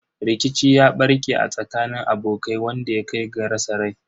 Rikici ya barke a tsakanin abokai wanda ya kai ga rasa rai.